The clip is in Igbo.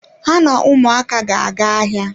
Ha na ụmụaka ga-aga ahịa.